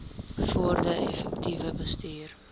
bevorder effektiewe bestuur